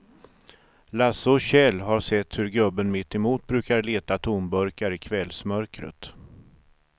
Lasse och Kjell har sett hur gubben mittemot brukar leta tomburkar i kvällsmörkret.